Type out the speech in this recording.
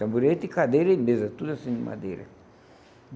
Tamborete, cadeira e mesa, tudo assim, de madeira.